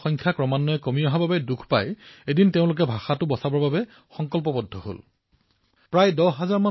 তেওঁলোকে এটা কথা চিন্তা কৰি অতিশয় ব্যথিত হৈছে যে তেওঁলোকৰ ভাষাভাষীলোকৰ সংখ্যা হ্ৰাস হবলৈ ধৰিছে তাৰপিছত এদিন তেওঁলোকে নিজৰ ভাষাটো বচোৱাৰ সংকল্প গ্ৰহণ কৰিলে